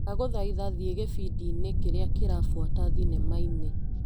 Ndagũthaitha thiĩ gĩbindi-inĩ kĩrĩa kĩrabuata thinema-inĩ .